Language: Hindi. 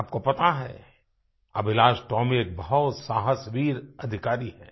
आपको पता है अभिलाष टोमी एक बहुत साहसीवीर अधिकारी हैं